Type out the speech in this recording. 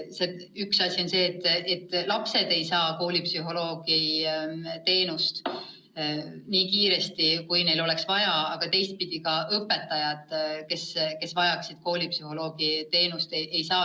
Üks asi on see, et lapsed ei saa koolipsühholoogi juurde nii kiiresti, kui neil vaja oleks, aga teisipidi pole seda teenust saanud ka õpetajad, kes vajaksid koolipsühholoogi nõu.